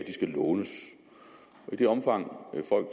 de skal lånes i det omfang folk